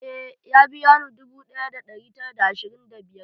Eh, ya biya ni dubu ɗaya da ɗari tara da ashirin da biyar.